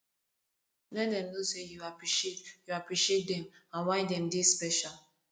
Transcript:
let dem no sey yu appreciate yu appreciate dem and why dem dey special